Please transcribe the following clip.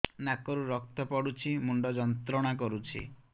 ନାକ ରୁ ରକ୍ତ ପଡ଼ୁଛି ମୁଣ୍ଡ ଯନ୍ତ୍ରଣା କରୁଛି